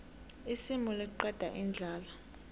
isimu liqeda indlala